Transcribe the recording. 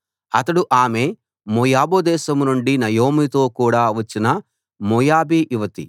అతడు ఆమె మోయాబు దేశం నుండి నయోమితో కూడా వచ్చిన మోయాబీ యువతి